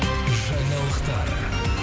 жаңалықтар